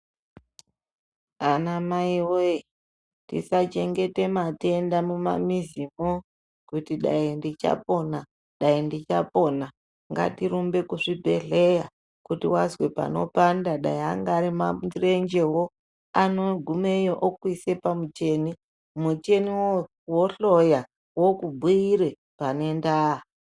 Anamai woye tisachengete matenda mumamizi mwo kuti dai ndichapona, daindichapona, ngatirumbe kuzvibhehleya kuti wazwe panopanda dai anga ari marenjewo anogumeyo okuise pamucheni ,mucheni wohloya wokubhuyire panendaa.